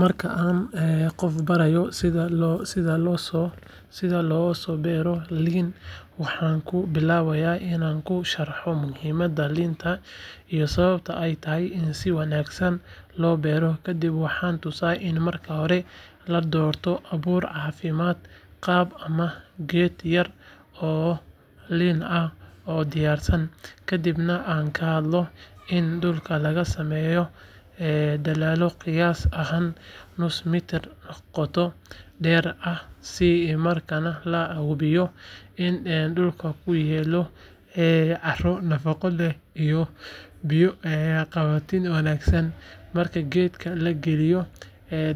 Marka aan qof barayo sida loosoo beero liin waxaan ku bilaabaa inaan u sharxo muhiimadda liinta iyo sababta ay tahay in si wanaagsan loo beero kadib waxaan tusaa in marka hore la doorto abuur caafimaad qaba ama geed yar oo liin ah oo diyaarsan kadibna aan ka hadlo in dhulka laga sameeyo dalool qiyaas ahaan nus mitir qoto dheer ah isla markaana la hubiyo in dhulku uu leeyahay carro nafaqo leh iyo biyo qabatin wanaagsan marka geedka la geliyo